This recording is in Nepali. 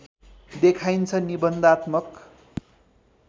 देखाइन्छ निबन्धात्मक